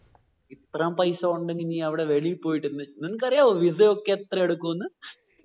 ഇത്രേം പൈസ കൊണ്ട് നി വെളിയിൽ പോയിട്ട് എന്ത് നിങ്ങക്ക് അറിയാവോ visa യൊക്കെ എത്ര എടുകുന്ന്?